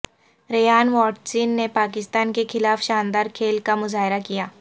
Rayan Watson نے پاکستان کے خلاف شاندار کھیل کا مظاہرہ کیا